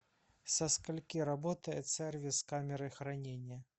со скольки работает сервис камеры хранения